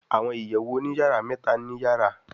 Àwọn ìyèwù òní-yara méta ní yàrá